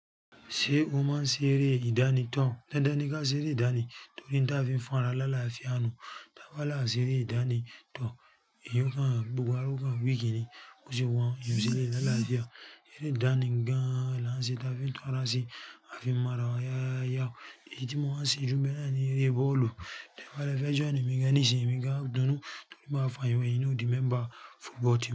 Ṣé o máa ń ṣeré ìdánì tán? Dandan ní ká ṣeré ìdánì torí òun táá fi ń fún ara láláfià nú. Tá bá là ṣeré ìdánì tán, èèyàn o kán gbogbo ara ó kan wíkí ni ó sì wọ́n, ìyọ̀ sílẹ̀ lálá fi ha. Ṣeré ìdánì gan-an lán ṣe, dáá fi ń tún ara ṣe, á fi ń mọ ara ya ya. Èyí tí mo máa ń ṣe ju bẹ́ẹ̀ ni eré bọ́ọ̀lù. Dá bá là fẹ́ joìn ìmúga nísìín, ìmúga dunnú torí máa fún ẹyin ní member football team.